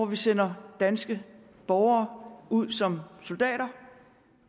vi sender danske borgere ud som soldater